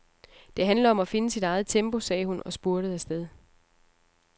Det handler om at finde sit eget tempo, sagde hun og spurtede afsted.